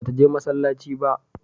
Ba ta je masallaci ba?